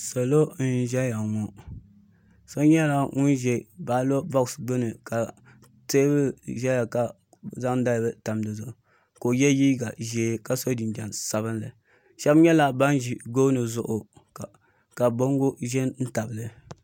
Salo n zɛya ŋɔ so nyɛla ŋuni zɛ baloti bɔks gbuni ka tɛɛbuli zɛya ka bi zaŋ dali bila n-tam di zuɣu ka o ye liiga zɛɛ ka so jinjam sabinli shɛba nyɛla bini zi gooni zuɣu ka bongo zɛ n tabili.